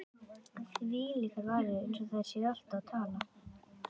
Þvílíkar varir,- eins og þær séu alltaf að tala.